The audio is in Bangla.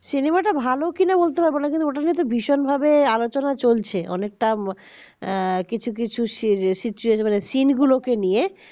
cinema টা ভালো কিনা বলতে পারব না ওটা কিন্তু ভীষণভাবে আলোচনা চলছে অনেকটা কিছু কিছু সিন গুলোকে নিয়ে